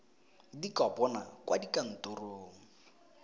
di ka bonwa kwa dikantorong